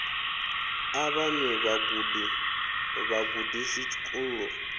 a vhaṅwe vhagudi vhagudisi tshikolo